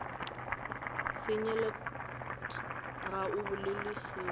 senyelet ga o bolele selo